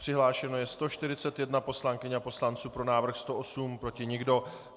Přihlášeno je 141 poslankyň a poslanců, pro návrh 108, proti nikdo.